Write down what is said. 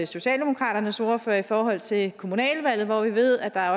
socialdemokratiets ordfører i forhold til kommunalvalget da vi ved at der